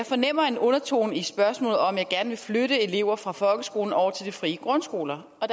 fornemmer en undertone i spørgsmålet som om jeg gerne vil flytte elever fra folkeskolen over til de frie grundskoler og